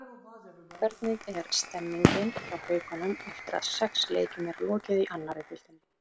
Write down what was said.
Hvernig er stemmingin hjá Haukunum eftir að sex leikjum er lokið í annarri deildinni?